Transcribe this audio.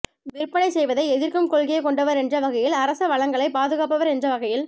விற்பணைச் செய்வதை எதிர்க்கும் கொள்கையை கொண்டவர் என்ற வகையில் அரச வளங்களை பாதுகாப்பவர் என்ற வகையில்